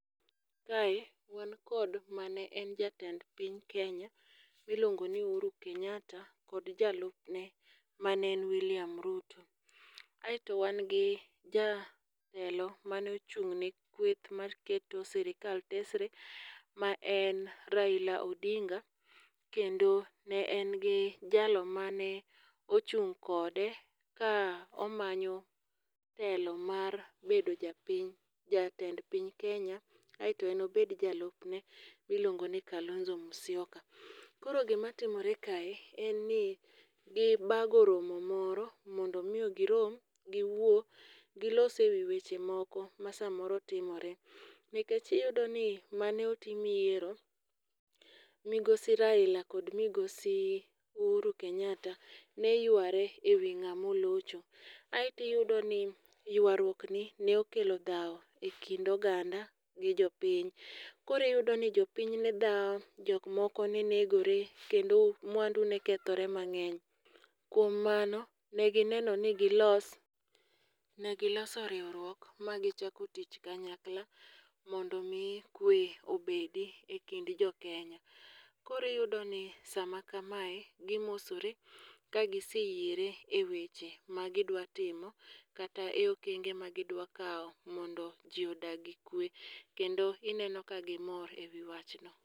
Kae, wan kod mane en jatend piny Kenya miluongo ni Uhuru Kenyatta, kod jalupne mane en William Ruto. Aeto wan gi jatelo mane ochung' ni kwith mar keto sirikal tesre ma en Raila Odinga, kendo ne en gi jalo mane ochung' kode ka omanyo telo mar bedo japiny, jatend piny Kenya. Aeto en obedi jalupne miluongo ni Kalonzo Musyoka. Koro gimatimore kae, en ni gibago romo moro mondo miyo girom giwuo, gilos ewi weche moko ma samoro timore. Nikech iyudo ni mane otim yiero, migosi Raila kod migosi Uhuru Kenyatta, ne yuare ewi ng'ama olocho. Aeto iyudo ni ywaruokni ne okelo dhao e kind oganda gi jopiny. Koriyudo ni jopinyne dhawo jok moko ne negore, kendo mwandu ne kethore mang'eny. Kuom mano, negineno ni gilos. Ne giloso riwruok ma gichako tich kanyakla, mondo mi kwe obedi e kind jokenya. Koriyudo ni sama kama gi mosore ka giseyiere e weche magidwa timo kata e okenge magidwa kao mondo ji odag gi kwe. Kendo ineno ka gimor ewi wachno.